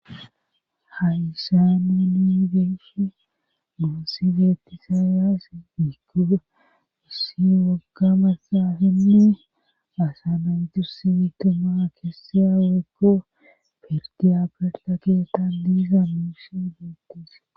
hayysaame ni geyshi nuonsi beettisaayaass dikuda issi wogga massaafinne asanayutus simitima keesseya weyko pertiyaberta keettan diiza muushi duukuse